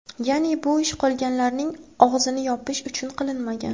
Ya’ni, bu ish qolganlarning og‘zini yopish uchun qilinmagan.